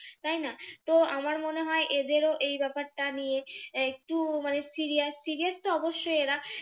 তাই না? তো আমার মনে হয় এদেরও এই ব্যাপারটা নিয়ে একটু মানে serious serious তো অবশ্যই এরা